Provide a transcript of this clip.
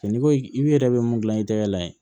n'i ko i yɛrɛ bɛ mun gilan i tɛgɛ la yen